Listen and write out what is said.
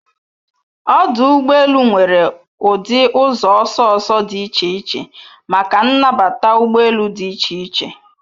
Ọdụ ụgbọ elu nwere ụdị ụzọ ọsọ ọsọ dị iche iche maka nnbata ụgbọ elu dị iche iche